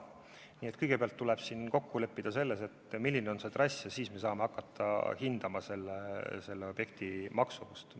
Nii et kõigepealt tuleb kokku leppida selles, milline on trass, ja alles siis saame hakata hindama objekti maksumust.